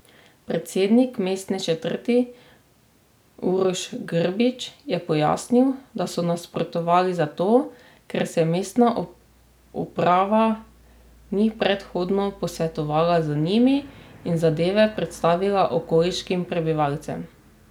Predsednik mestne četrti Uroš Grbić je pojasnil, da so nasprotovali zato, ker se mestna uprava ni predhodno posvetovala z njimi in zadeve predstavila okoliškim prebivalcem.